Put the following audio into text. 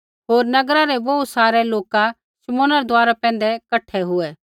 होर नगरा रै बोहू सारै लोका शमौना रै दुआरा पैंधै कठा हुऐ